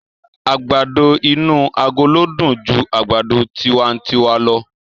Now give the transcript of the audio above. Àgbàdo inú agolo dùn ju àgbàdo tiwantiwa lọ.